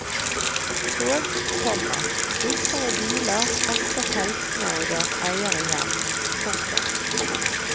Tog, komma busser og biler frakter teltene og deres eiere hjem. punktum